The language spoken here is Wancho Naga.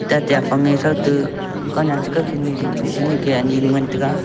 tate afange thoute kanyan ka kakhin dingpe shi ning ka anyi ngan taiga.